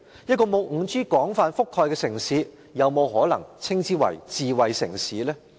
一個不受 5G 廣泛覆蓋的城市，可否稱為智慧城市呢？